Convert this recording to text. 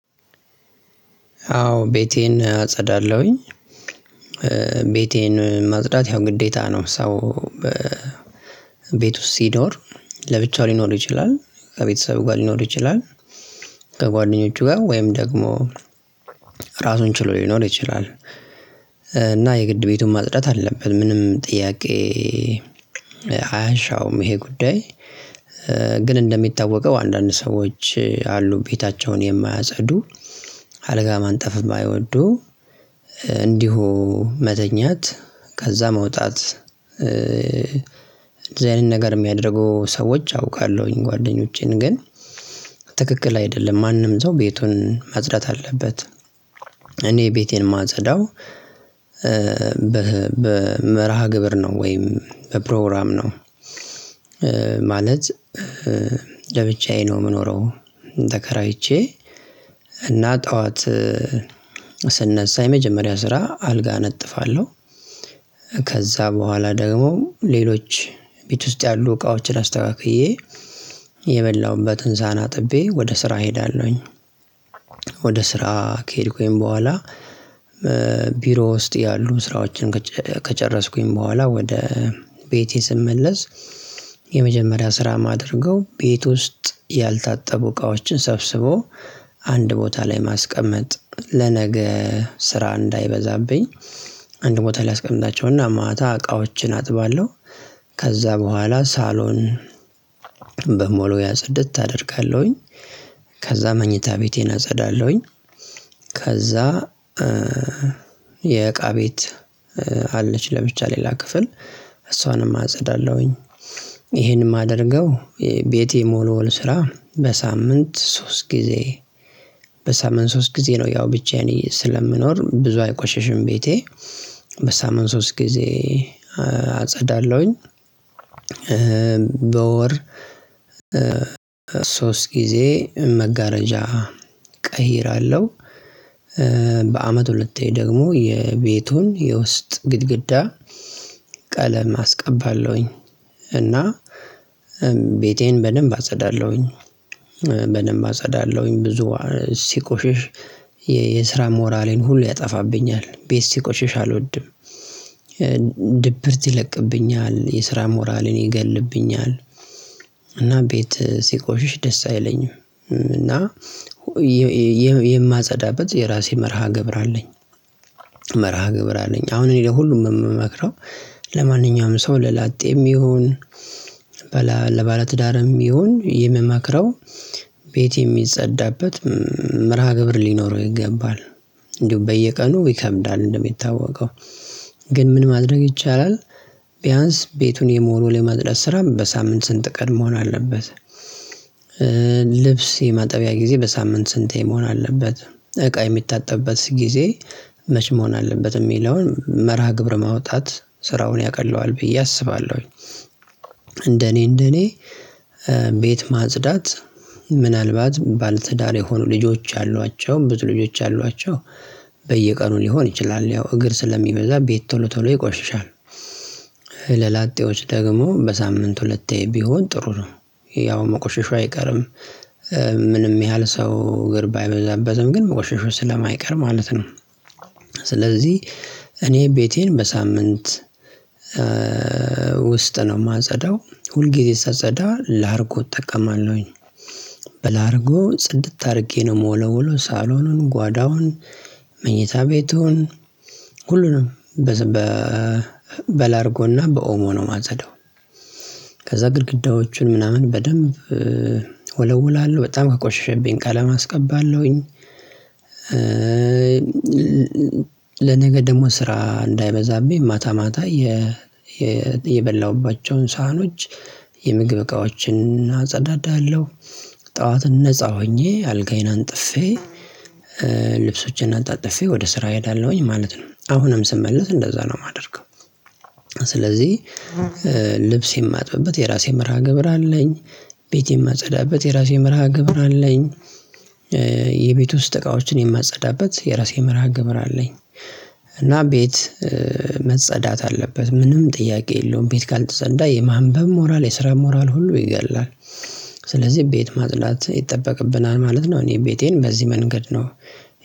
አዎ ቤቴን አጸዳለሁኝ። ቤቴን ማጽዳት ያው ግዴታ ነው። ሰው ቤት ውስጥ ሲኖር ለብቻው ሊኖር ይችላል ከቤተሰብ ጋር ሊኖር ይችላል። ከጓደኞቹ ጋር ወይም ደግሞ ራሱን ችሎ ሊኖር ይችላል። የግድ ቤቱን ማጽዳት አለብን ምንም ጥያቄ አያሻውም ይሄ ጉዳይ። ግን እንደሚታወቀው አንዳንድ ሰዎች አሉ ቤታቸውን የማያጸዱ አልጋ ማንጠፍ የማይወዱ እንዲሁ መተኛት ከዛ መውጣት የዚህ አይነት ነገር የሚያደርጉ ሰዎች አውቃለሁኝ ጓደኞቼን ግን ትክክል አይደለም ማንም ሰው ቤቱን ማጽዳት አለበት። እኔ ቤቴን ማጸዳው በመርሃ ግብር ነው ወይም በፕሮግራም ነው። ማለት ለብቻዬ ነው ምኖረው ተከራይቼ እና ጠዋት ስነሳ የመጀመሪያ ስራ አልጋ አነጥፋለሁ። ከዛ በኋላ ደግሞ ሌሎች ቤት ውስጥ ያሉ እቃዎችን አስተካክዬ የበላሁበት ሰሃን አጥቤ ወደ ስራ እሄዳለሁኝ። ወደ ስራ ከሄድኩኝ በኋላ ቢሮ ውስጥ ያሉ ስራዎችን ከጨረስኩኝ በኋላ ወደ ቤቴ ስመለስ የመጀመሪያ ስራ ማደርገው ቤት ውስጥ ያልታጠቡ እቃዎችን ሰብስቦ አንድ ቦታ ላይ ማስቀመጥ ለነገ ስራ እንዳይበዛብኝ አንድ ቦታ ላይ አስቀምጣቸው እና ማታ እቃዎችን አጥባለሁ። ከዛ በኋላ ሳሎን በመወልወያ ጽድት አደርጋለሁኝ ከዛ መኝታ ቤቴን አጸዳለሁኝ። ከዛ የእቃ ቤት አለች ለብቻ ሌላ ክፍል እሷንም አጸዳለሁኝ። ይሄን ማደርገው ቤት የመወልወል ስራ በሳምንት ሶስት ጊዜ በሳምንት ሶስት ጊዜ ነው። ያው ብቻየን ስለምኖር ብዙ አይቆሸሽም ቤቴ በሳምንት ሶስት ጊዜ አጸዳለሁኝ። በወር ሶስት ጊዜ መጋረጃ ቀይር አለው። በአመት ሁለቴ ደግሞ የቤቱን የውስጥ ግድግዳ ቀለም አስቀባለሁኝ እና ቤቴን በደንብ አጸዳለሁኝ። በደንብ አጸዳለሁኝ ብዙ ሲቆሽሽ የስራ ሞራሌን ሁሉ ያጠፋብኛል ቤት ሲቆሽሽ አልወድም። ድብርት ይለቅብኛል የስራ ሞራልን ይገልብኛል እና ቤት ሲቆሽሽ ደስ አይለኝም እና የማጸዳበት የራሴ መርሃ ግብር አለኝ። መርሃ ግብር አለኝ አሁን እኔ ለሁሉም ምመክረው ለማንኛውም ሰው ለላጤም ይሁን በላ ለባለትዳርም ይሁን የምመክረው ቤት የሚጸዳበት መርሃ ግብር ሊኖረው ይገባል። እንደው በየቀኑ ይከብዳል እንደሚታወቀው ግን ምን ማድረግ ይቻላል። ቢያንስ ቤቱን የመወልወል የማጽዳት ስራም በሳምንት ስንት ቀን መሆን አለበት? ልብስ የማጠበያ ጊዜ በሳምንት ስንቴ መሆን አለበት? እቃ የሚታጠብበት ጊዜ መቼ መሆን አለበት የሚለውን መርሃ ግብረ ማውጣት ስራውን ያቀለዋል ብዬ አስባለሁኝ። እንደኔ እንደኔ ቤት ማጽዳት ምናልባት ባለትዳር የሆኑ ልጆች አሏቸው ብዙ ልጆች አሏቸው በየቀኑ ሊሆን ይችላል ያው እግር ስለሚበዛ ቤት ቶሎ ቶሎ ይቆሽሻል። ደግሞ በሳምንት ሁለቴ ቢሆን ጥሩ ነው። ያው መቆሸሹ አይቀርም ምንም ያህል ሰው እግር ባይበዛበትም ግን መቆሸሹ ስለማይቀር ማለት ነው። ስለዚህ እኔ ቤቴን በሳምንት ውስጥ ነው ማጸዳው ሁልጊዜ ሳጸዳ ላርጎ እጠቀማለሁኝ በላርጎ ጽድት አርጌ ነው ምወለውለው ሳሎኑን ጓዳውን መኝታ ቤቱን ሁሉንም በ በላርጎና በኦሞ ነው ማጸዳው። ከዛ ግድግዳዎቹን ምናምን በደንብ ወለውላለሁ በጣም ከቆሸሸብኝ ቀለም አስቀባለሁኝ። ለነገ ደግሞ ስራ እንዳይበዛብኝ ማታ ማታ የበላሁባቸውን ሳሀኖች የምግብ እቃዎችን አጸዳዳለሁ ጠዋትን ነፃ ሆኜ አልጋዬን አንጥፌ ልብሶቼን አጣጥፌ ወደ ስራ ሄዳለሁኝ ማለት ነው። አሁንም ስመለስ እንደዛ ነው ማደርገው ስለዚህ ልብስ የማጥብበት የራሴ መርሃ ግብር አለኝ። ቤት ማጸዳበት የራሴ መርሃ ግብር አለኝ። የቤት ውስጥ እቃዎችን የማጸዳበት የራሴ መርሃ ግብር አለኝ። እና ቤት መጸዳት አለበት ምንም ጥያቄ የለውም ቤት ካልተጸዳ የማንበብ ሞራል የስራ ሞራል ሁሉ ይገድላል ስለዚህ ቤት ማጽዳት ይጠበቅብናል ማለት ነው። እኔ ቤቴን በዚህ መንገድ ነው።